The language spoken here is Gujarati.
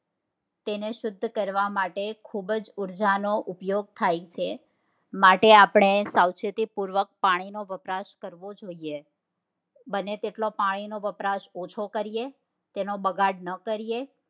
તેને શુદ્ધ કરવા માટે ખુબ જ ઉર્જા નો ઉપયોગ થાય છે માટે આપડે સાવચેતીપૂર્વક પાણીનો વપરાશ કરવો જોઈએ બનેતેટલો પાણી નો વપરાશ ઓછો કરીએ તેનો બગાડ ના કરીએ